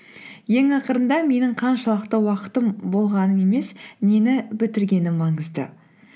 ең ақырында менің қаншалықты уақытым болғаным емес нені бітіргенім маңызды